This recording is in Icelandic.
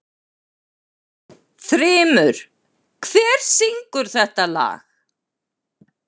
Þrymur, hver syngur þetta lag?